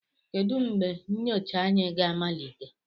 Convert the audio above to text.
Kedu mgbe nyocha anyị ga-amalite?